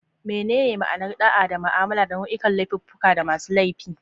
Menene ma'anar da'a na mu'amala da nau'ikan laifuffuka da masu laifi?